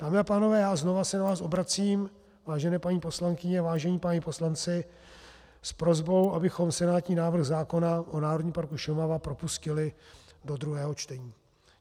Dámy a pánové, já znovu se na vás obracím, vážené paní poslankyně, vážení páni poslanci, s prosbou, abychom senátní návrh zákona o Národním parku Šumava propustili do druhého čtení.